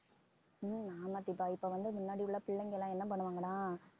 ஹம் ஆமா தீபா இப்ப வந்து முன்னாடி உள்ள பிள்ளைங்க எல்லாம் என்ன பண்ணுவாங்கன்னா